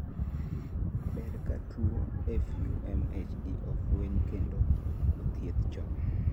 ber ka tuwo FUMHD ofweny kendo othiedh chon